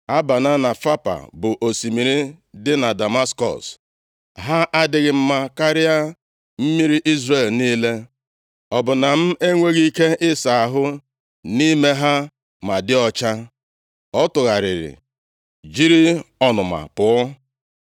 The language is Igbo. Abana + 5:12 A na-akpọkwa ya Amana na Fapa, bụ osimiri dị na Damaskọs, ha adịghị mma karịa mmiri Izrel niile? Ọ bụ na m enweghị ike ịsa ahụ nʼime ha ma dị ọcha.” Ọ tụgharịrị jiri ọnụma pụọ.